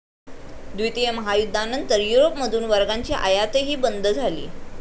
द्वितीय महायुद्धानंतर यूरोपमधून वर्गांची आयातही बंद झाली.